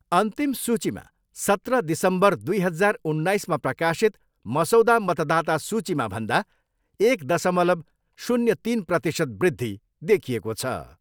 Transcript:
अन्तिम सूचीमा सत्र दिसम्बर दुई हजार उन्नाइसमा प्रकाशित मसौदा मतदाता सूचीमा भन्दा एक दशमलव शून्य तिन प्रतिशत वृद्धि देखिएको छ।